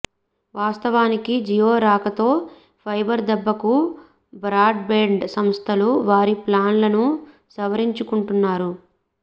వాస్తవానికి జియో రాకతో ఫైబర్ దెబ్బకు బ్రాడ్ బ్యాండ్ సంస్థలు వారి ప్లాన్ లను సవరించుకుంటున్నారు